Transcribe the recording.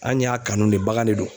An y'a kanu ne bagan de do.